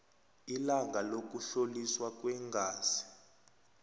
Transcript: ilanga lokuhloliswa kweengazi